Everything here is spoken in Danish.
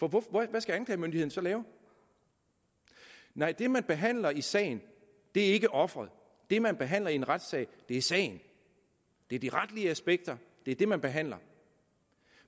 hvad skal anklagemyndigheden så lave nej det man behandler i sagen er ikke offeret det man behandler i en retssag er sagen det er de retlige aspekter det er det man behandler